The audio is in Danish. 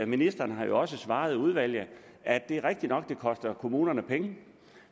ministeren har også svaret udvalget at det er rigtigt nok at det koster kommunerne penge